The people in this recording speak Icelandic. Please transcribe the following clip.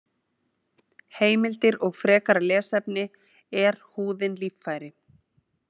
Heimildir og frekara lesefni: Er húðin líffæri?